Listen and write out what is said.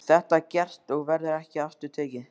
Þetta er gert og verður ekki aftur tekið.